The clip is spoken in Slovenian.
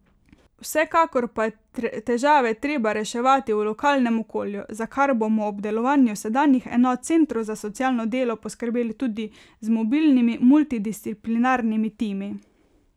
Vsekakor pa je težave treba reševati v lokalnem okolju, za kar bomo ob delovanju sedanjih enot centrov za socialno delo poskrbeli tudi z mobilnimi multidisciplinarnimi timi.